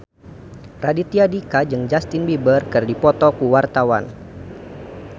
Raditya Dika jeung Justin Beiber keur dipoto ku wartawan